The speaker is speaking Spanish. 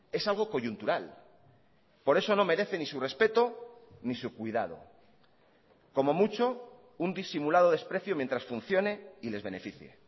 es algo coyuntural por eso no merece ni su respeto ni su cuidado como mucho un disimulado desprecio mientras funcione y les beneficie